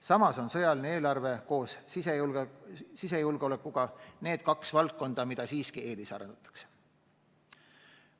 Samas on sõjaline eelarve koos sisejulgeolekuga need kaks valdkonda, mida eelisarendatakse.